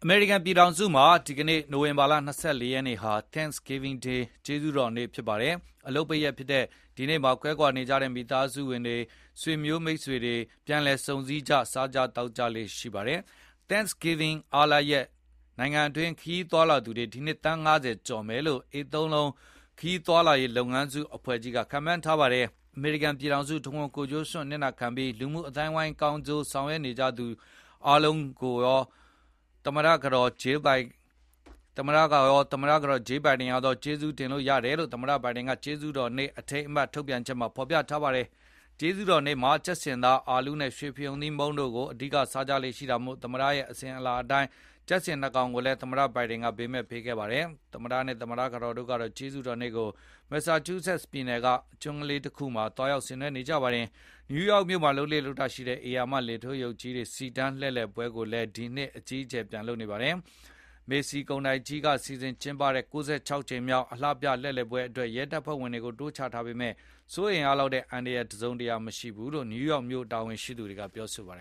မေရိကန်ပြည်ထောင်စုမှာ ဒီနေ့ နိုဝင်ဘာလ ၂၄ ရက်နေ့ဟာ Thanksgiving ကျေးဇူးတော်နေ့ဖြစ်ပါတယ်။ အလုပ်ပိတ်ရက်ဖြစ်တဲ့ ဒီနေ့မှာ ကွဲကွာနေကြတဲ့ မိသားစုဝင်တွေ၊ ဆွေမျိုးမိတ်ဆွေတွေ၊ ပြန်လည်ဆုံစည်းကြ၊ စားကြသောက်ကြလေ့ရှိပါတယ်။ Thanksgiving အားလပ်ရက် နိုင်ငံတွင်း ခရီးသွားလာသူတွေ ဒီနှစ် သန်း ၅၀ ကျော်မယ်လို့ AAA ခရီးသွားလာရေးလုပ်ငန်းစုအဖွဲ့ကြီးက ခန့်မှန်းထားပါတယ်။ အမေရိကန်ပြည်ထောင်စုတဝန်း ကိုယ်ကျိုးစွန့်အနစ်နာခံပြီး လူမှုအသိုင်းအဝန်းတွေကောင်းကျိုးဆောင်ရွက်နေကြသူအားလုံးကို သူရော သမ္မတကတော် Jill Biden ရောက ကျေးဇူးတင်တယ်လို့ သမ္မတ Biden က ကျေးဇူးတော်နေ့ အထိမ်းအမှတ်ထုတ်ပြန်ချက်မှာ ဖော်ပြထားပါတယ်။ ကျေးဇူးတော်နေ့မှာ ကြက်ဆင်သား၊ အာလူးနဲ့ ရွှေဖရုံသီးမုန့်တို့ကို အဓိကစားကြလေ့ရှိတာမို့ သမ္မတတွေရဲ့အစဉ်အလာအတိုင်း ကြက်ဆင် ၂ ကောင်ကိုလည်း သမ္မတ Biden ဘေးမဲ့ပေးခဲ့ပါတယ်။ သမ္မတနဲ့သမ္မတကတော်တို့ကတော့ ကျေးဇူးတော်နေ့ကို Massachusetts ပြည်နယ်က Nantucket ကျွန်းလေးမှာ သွားရောက်ဆင်နွဲနေကြပါတယ်။ New York မြို့မှာ လုပ်လေ့ရှိတဲ့ ဧရာမ လေထိုးရုပ်ကြီးတွေ စီတန်းလှည့်လည်ပွဲကိုလည်း ဒီနှစ်အကြီးအကျယ် ပြန်လုပ်နေပါတယ်။ Macy's ကုန်တိုက်ကြီးက စီစဉ် ကျင်းပတဲ့ ၉၆ ကြိမ်မြောက် အလှပြ လှည့်လည်ပွဲအတွက် ရဲတပ်ဖွဲ့ဝင်တွေကို တိုးချထားပေမဲ့ စိုးရိမ်ရလောက်တဲ့ အန္တရာယ်တစုံတရာမရှိဘူးလို့ N. Y မြို့တာဝန်ရှိသူတွေက ပြောပါတယ